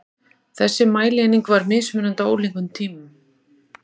Þessi mælieining var mismunandi á ólíkum tímum.